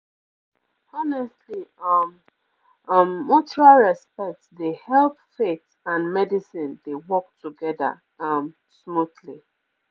honestly um um mutual respect dey help faith and medicine dey work together um smoothly